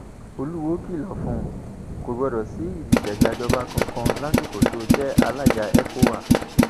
olùwọọ kìlọ fún kò gbọdọ sí ìdìtẹgbàjọba kankan lásìkò tó o jẹ alága ecowa